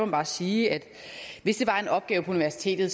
bare sige at hvis det var en opgave på universitetet